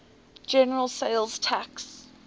general sales tax